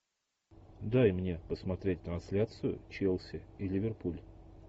дай мне посмотреть трансляцию челси и ливерпуль